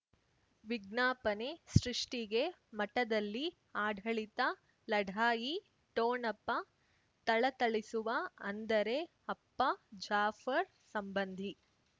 ವಿಜ್ಞಾಪನೆ ಸೃಷ್ಟಿಗೆ ಮಠದಲ್ಲಿ ಆಢಳಿತ ಲಢಾಯಿ ಠೊಣಪ ಥಳಥಳಿಸುವ ಅಂದರೆ ಅಪ್ಪ ಜಾಫರ್ ಸಂಬಂಧಿ